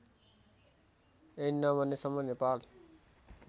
ऐन नबनेसम्म नेपाल